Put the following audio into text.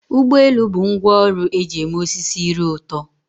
Ụgbọ elu bụ ngwá ọrụ eji eme osisi ire ụtọ.